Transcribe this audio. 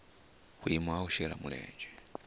vhuimo ha u shela mulenzhe